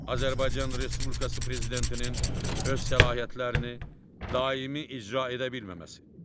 Azərbaycan Respublikası prezidentinin öz səlahiyyətlərini daimi icra edə bilməməsi.